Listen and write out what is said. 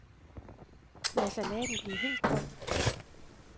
Lad salaten blive helt kold.